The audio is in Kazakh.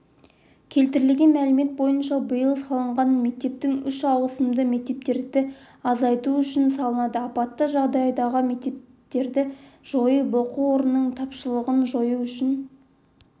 келтірілген мәлімет бойынша биыл салынған мектептің үш ауысымды мектептерді азайту үшін салынды апатты жағдайдағы мектептерді жойып оқу орнының тапшылығын жою үшін